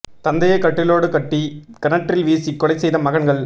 தந்தையை கட்டிலோடு கட்டி கிணற்றில் வீசி கொலை செய்த மகன்கள்